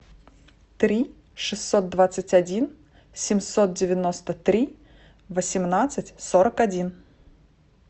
три шестьсот двадцать один семьсот девяносто три восемнадцать сорок один